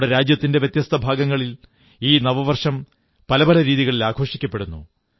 നമ്മുടെ രാജ്യത്തിന്റെ വ്യത്യസ്ത ഭാഗങ്ങളിൽ ഈ നവവർഷം പല പല രീതികളിൽ ആഘോഷിക്കപ്പെടുന്നു